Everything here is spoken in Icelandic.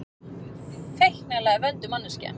Feiknalega vönduð manneskja.